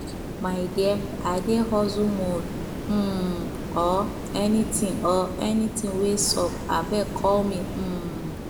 my dear i dey hustle mode um oo anything oo anything wey sup abeg call me um